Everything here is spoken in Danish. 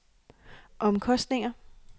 omkostninger